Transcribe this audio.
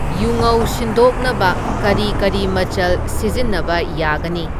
ꯌꯨꯉꯧ ꯁꯤꯟꯗꯣꯛꯅꯕ ꯀꯔꯤ ꯀꯔꯤ ꯃꯆꯜ ꯁꯤꯖꯤꯟꯅꯕ ꯌꯥꯒꯅꯤ